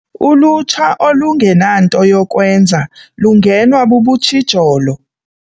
Ulutsha olungenanto yokwenza lungenwa bubutshijolo.